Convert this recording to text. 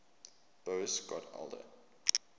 boas got older